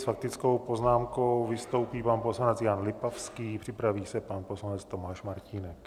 S faktickou poznámkou vystoupí pan poslanec Jan Lipavský, připraví se pan poslanec Tomáš Martínek.